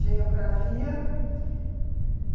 Geografia e